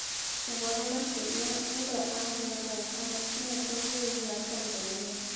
Ũhoro makĩria endwa a hũra ũmwe mekũo bũrũri wa tanzania